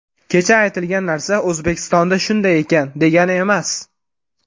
Kecha aytilgan narsa O‘zbekistonda shunday ekan, degani emas.